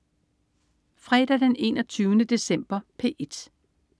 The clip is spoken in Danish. Fredag den 21. december - P1: